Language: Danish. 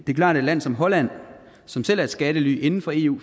er klart at et land som holland som selv er et skattely inden for eu